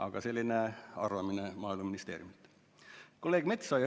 Aga selline arvamine tuli Maaeluministeeriumilt.